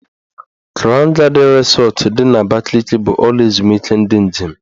Krawn Gadịn Rịsọt dị n'Abakaliki bụ ụlọ ezumike ndị njem.